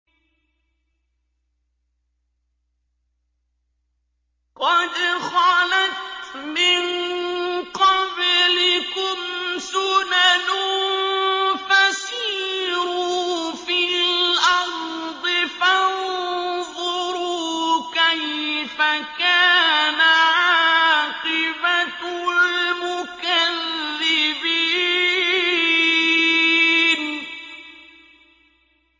قَدْ خَلَتْ مِن قَبْلِكُمْ سُنَنٌ فَسِيرُوا فِي الْأَرْضِ فَانظُرُوا كَيْفَ كَانَ عَاقِبَةُ الْمُكَذِّبِينَ